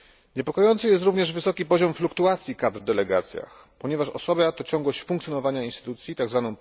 Niepokojący jest również wysoki poziom fluktuacji kadr w delegacjach, ponieważ osłabia to ciągłość funkcjonowania instytucji, tzw.